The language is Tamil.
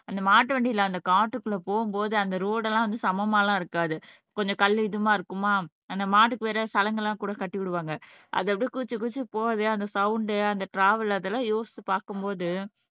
அந்த மாட்டு வண்டியிலே அந்த காட்டுக்குள்ளே போகும்போது அந்த ரோடு எல்லாம் வந்து சமமா எல்லாம் இருக்காது கொஞ்சம் கல் இதுமா இருக்குமா அந்த மாட்டுக்கு வேற சலங்கெல்லாம் கூட கட்டி விடுவாங்க அது அப்படியே குதிச்சு குதிச்சு போகுதே அந்த சவுண்ட் அந்த ட்ராவல் அதெல்லாம் யோசிச்சுப் பார்க்கும் போது